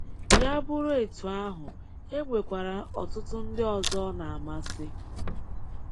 Ya bụrụ etu ahụ, e nwekwara ọtụtụ ndị ọzọ ọ na-amasị.